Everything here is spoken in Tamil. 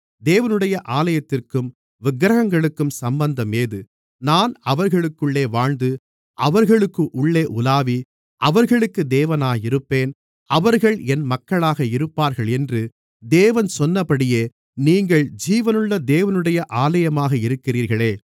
தேவனுடைய ஆலயத்திற்கும் விக்கிரகங்களுக்கும் சம்பந்தம் ஏது நான் அவர்களுக்குள்ளே வாழ்ந்து அவர்களுக்குள்ளே உலாவி அவர்களுக்கு தேவனாக இருப்பேன் அவர்கள் என் மக்களாக இருப்பார்கள் என்று தேவன் சொன்னபடியே நீங்கள் ஜீவனுள்ள தேவனுடைய ஆலயமாக இருக்கிறீர்களே